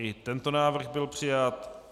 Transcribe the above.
I tento návrh byl přijat.